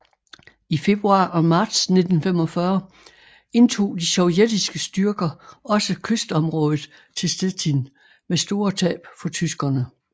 I februar og marts 1945 indtog de sovjetiske styrker også kystområdet til Stettin med store tab for tyskerne